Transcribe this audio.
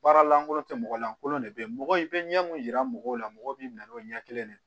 Baara lankolon tɛ mɔgɔ lankolon de bɛ yen mɔgɔ i bɛ ɲɛ mun yira mɔgɔw la mɔgɔ b'i na n'o ɲɛ kelen de